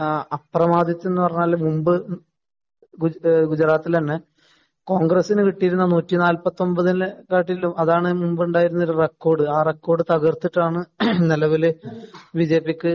അപ്രമാധിത്വം എന്ന് പറഞ്ഞാല് മുമ്പ് ഗുജറാത്തില് തന്നെ കോണ്‍ഗ്രസിന് കിട്ടിയിരുന്ന നൂറ്റി നാല്പത്തിയൊമ്പതിനെക്കാട്ടിലും അതാണ് മുമ്പുണ്ടായിരുന്ന റെക്കോര്‍ഡ്‌. ആ റെക്കോര്‍ഡ്‌ തകര്‍ത്തിട്ടാണ് നിലവില് ബിജെപിക്ക്